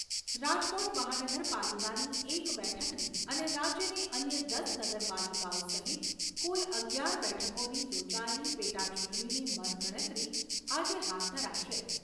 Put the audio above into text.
રાજકોટ મહાનગરપાલિકાની એક બેઠકની અને રાજ્યની અન્ય દસ નગરપાલિકાઓ સહિત કુલ અગિયાર બેઠકોની યોજાયેલી પેટાચૂંટણીની મતગણતરી આજે હાથ ધરાશે.